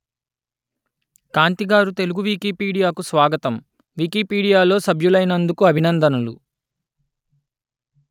కాంతి గారు తెలుగు వికీపీడియాకు స్వాగతం వికీపీడియాలో సభ్యులైనందుకు అభినందనలు